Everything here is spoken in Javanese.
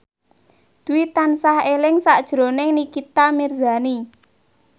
Dwi tansah eling sakjroning Nikita Mirzani